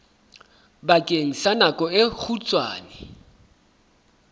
bakeng sa nako e kgutshwane